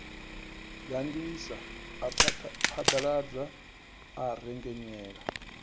gandisa a phaḓaladza a rengenyela